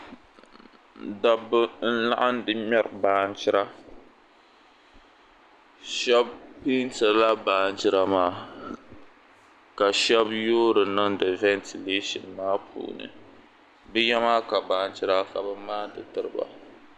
Dabba n-laɣindi mɛri baanjira. Shɛba leentirila baanjira maa ka shɛba yoori niŋdi ventigleeshin maa puuni. Bɛ ya maa ka baanjira ka bɛ maani tiri ba.